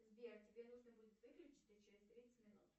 сбер тебе нужно будет выключиться через тридцать минут